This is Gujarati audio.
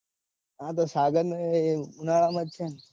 હા તો સાગર ને એ ઉનાળા માં છે. ન